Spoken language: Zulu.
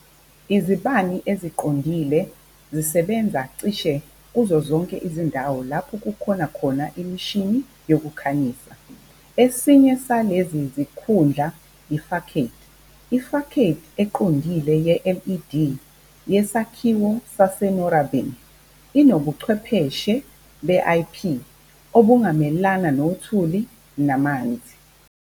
Izibani eziqondile zisebenza cishe kuzo zonke izindawo lapho kukhona khona imishini yokukhanyisa. Esinye salezi zikhundla yi-facade, i-facade EQONDILE YE-led yesakhiwo sasenorabin inobuchwepheshe be-ip obungamelana nothuli namanzi.